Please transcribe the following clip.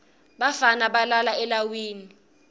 bafana balala elawini